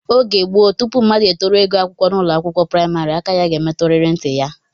Oge gboo, tupu mmadụ etoruo ịgụ akwụkwọ n'ụlọakwụkwọ praịmarị, aka ya ga-emetụrịrị ntị ya